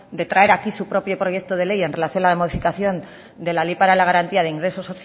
de traer aquí su propio proyecto de ley en relación a la modificación de la ley para la garantía de ingresos